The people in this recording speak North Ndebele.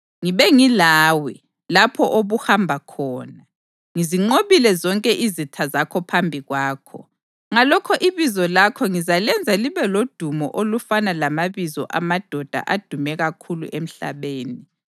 Ngibe ngilawe lapho obuhamba khona, ngizinqobile zonke izitha zakho phambi kwakho. Ngalokho ibizo lakho ngizalenza libe lodumo olufana lamabizo amadoda adume kakhulu emhlabeni.